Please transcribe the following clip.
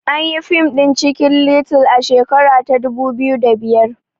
Anyi yi fim ɗin cikin little a shekara ta dubu biyu da biyar